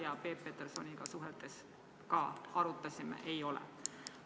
Ja Peep Petersoniga suheldes me ka arutasime, et ei ole.